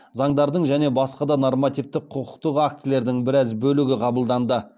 заңдардың және басқа да нормативтік құқықтық актілердің біраз бөлігі қабылданды